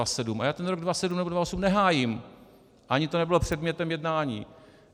A já ten rok 2007 nebo 2008 nehájím, ani to nebylo předmětem jednání.